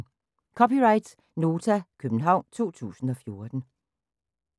(c) Nota, København 2014